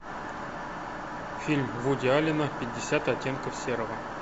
фильм вуди аллена пятьдесят оттенков серого